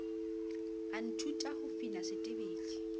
a nthuta ho fina setebele